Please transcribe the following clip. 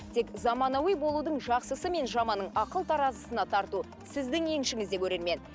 тек заманауи болудың жақсысы мен жаманын ақыл таразысына тарту сіздің еншігіңізде көрермен